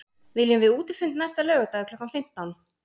Viljum við útifund næsta laugardag klukkan fimmtán?